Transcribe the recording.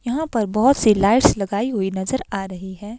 यहां पर बहोत सी लाइट्स लगाई हुई नजर आ रही हैं।